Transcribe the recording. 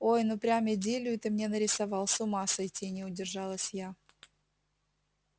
ой ну прям идиллию ты мне нарисовал с ума сойти не удержалась я